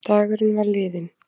Dagurinn var liðinn.